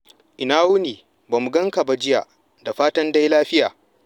Ina wuni? Ba mu ganka ba jiya. Da fatan dai lafiya.